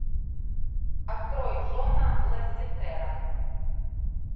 открой джона лассетера